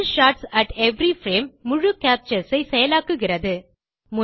pull shots at every frame முழு captures ஐ செயலாக்குகிறது